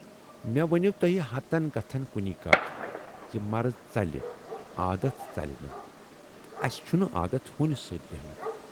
""مے ؤنۍوٕ توہہِ ہتن کتھن کُنی کتھ زِ مرض ژلہِ عادتھ ژلہِ نہٕ تہٕ اسہِ چھُنہٕ عادتھ ہوٗنِس سۭتۍ بیہنُک۔